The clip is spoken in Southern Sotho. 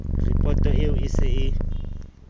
ripoto eo e se e